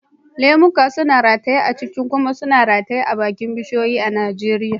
Lemuka suna rataye cikakke kuma suna rataye akan bishiyoyi a Najeriya.